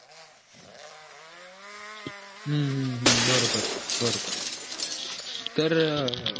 हम्म हम्म बरोबर बरोबर तरअ